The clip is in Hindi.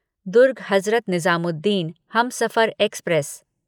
दुर्ग हज़रत निजामुद्दीन हमसफर एक्सप्रेस